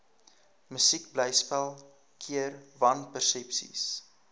musiekblyspel keer wanpersepsies